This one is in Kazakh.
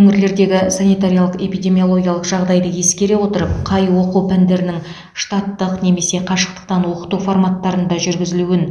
өңірлердегі санитариялық эпидемиологиялық жағдайды ескере отырып қай оқу пәндерінің штаттық немесе қашықтан оқыту форматтарында жүргізілуін